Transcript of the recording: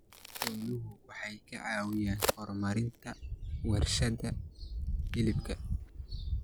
Xooluhu waxay caawiyaan horumarinta warshadaha hilibka.